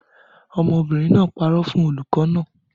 Ọmọbìnrin náà parọ́ fún olùkọ́ naa